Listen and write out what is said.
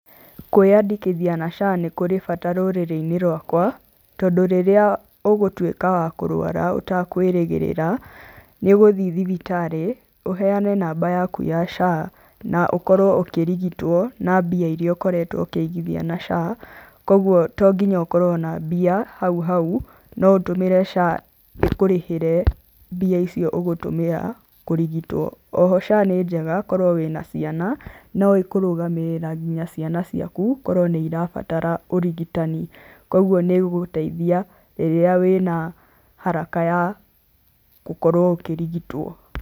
Kwĩandĩkithia na SHA nĩ kũrĩ bata rũrĩrĩ-inĩ rwaka, tondũ rĩrĩa ũgũtuĩka wa kũrũara ũtakwĩrĩgĩrĩra, nĩ ũgũthie thibitarĩ, ũheane namba yaku ya SHA na ũkorwo ũkĩrigitwo na mbia iria ũkoretwo ũkĩigithia na SHA, kwoguo to nginya ũkorwo na mbia hau hau, no ũtũmĩre SHA ĩkũrĩhĩre mbia icio ũgũtũmĩra kũrigitwo. Oho SHA nĩ njega korwo wĩna ciana, no ĩkũrũgamĩrĩra nginya ciana ciaku, korwo nĩ irabatara ũrigitani kwoguo nĩ ĩgũgũteithia rĩrĩa wĩna haraka ya gũkorwo ũkĩrigitwo.